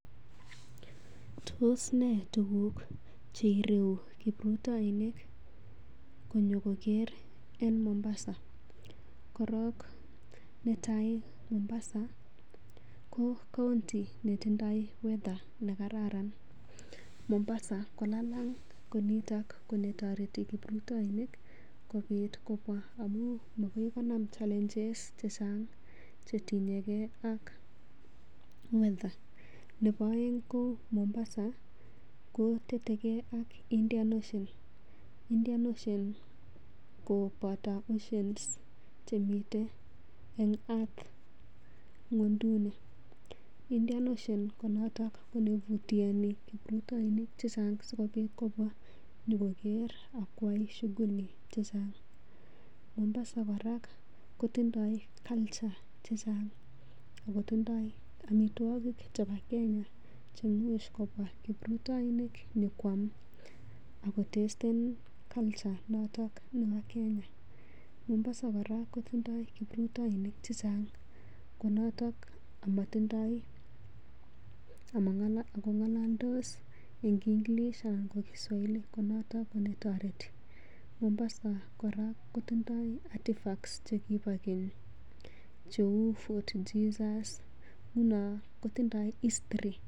Tos nee tuguk che ireuu kiprutoinik konyokogeer en Mombasa? Korong netai Mombasa ko county netindoi weather nekaran Mombasa ko lalang ko nito netoreti kiprutoinik kobit kobwa amun magoi konam challenges chechang che tinyege ak weather . Nebo oeng ko Mombasa ko tetege ak Indian Ocean. Indian Ocean ko boto oceans chemiten en earth ng'wonynduni. Indian Ocean ko noto neimutu anyun kiprutoinik che chang sikobit kobwa nyokoker ak kwai shughuli che chang. Mombasa kora kotindoi culture chechang ago tindoi amitwogi chebo Kenya che imuch kobwa kiprutoinik konyokwam ak kotasten culture noton nebo Kenya. Mombasa kora kotindoi kiprutoinik che chang konoto ago ng'ololdos en English anan ko Kiswahili ko noto netoreti. Mombasa kora kotindoi artefacts chekibo keny cheu Fort Jesus, nguno kotindoi history.